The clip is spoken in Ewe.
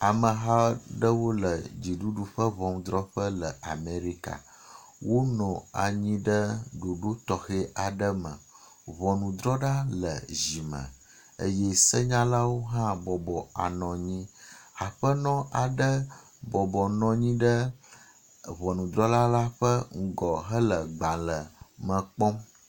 Ameha aɖewo le dziɖuɖu ƒe ŋɔnudrɔƒe le Amerika. Wonɔ anyi ɖe ɖoɖo tɔxe aɖe me. Ŋɔnudrɔlawo le zi me eye senyalawo hã bɔbɔ anɔ anyi. Aƒenɔ aɖe bɔbɔnɔ anyi ɖe ŋɔnudrɔla la ƒe nugɔ henɔ gbale me kpɔm.